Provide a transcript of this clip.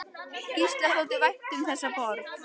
Gísla þótti vænt um þessa borg.